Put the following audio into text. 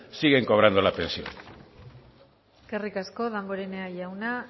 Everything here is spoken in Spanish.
siguen cobrando la pensión eskerrik asko damborenea jauna